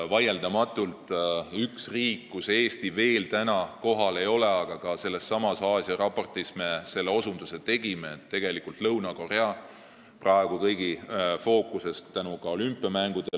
Vaieldamatult on üks riik, kus Eesti veel kohal ei ole – ja me osutasime sellele ka sellessamas Aasia-raportis –, Lõuna-Korea, mis on praegu kõigi fookuses tänu olümpiamängudele.